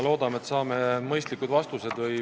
Loodame, et saame mõistlikud vastused.